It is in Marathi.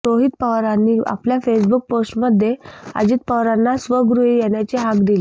रोहित पवारांनी आपल्या फेसबुक पोस्टमध्ये अजित पवारांना स्वगृही येण्याची हाक दिली